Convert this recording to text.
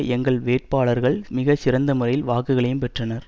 எங்கள் வேட்பாளர்கள் மிக சிறந்தமுறையில் வாக்குகளையும் பெற்றனர்